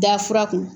Da fura kun